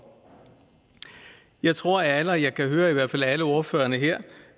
jeg tror at alle og jeg kan høre at i hvert fald alle ordførerne her